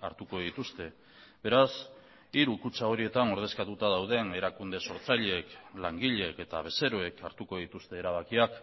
hartuko dituzte beraz hiru kutxa horietan ordezkatuta dauden erakunde sortzaileek langileek eta bezeroek hartuko dituzte erabakiak